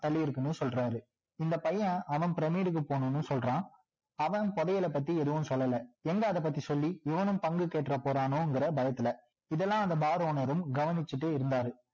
இருக்குன்னு சொல்றாரு இந்த பையன் அவன் பிரமிடுக்கு போணும்னு சொல்றான் அவன் புடையல பத்தி எதுவும் சொல்லல எங்க அதை பத்தி சொல்லி இவனும் பங்கு கேட்டிற போறான்ற பயத்துல இதெல்லாம் அந்த bar owner உம் கவனிச்சிட்டே இருந்தாரு